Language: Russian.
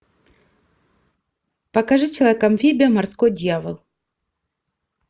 покажи человек амфибия морской дьявол